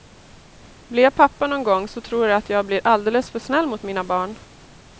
Blir jag pappa någon gång så tror jag att jag blir alldeles för snäll mot mina barn.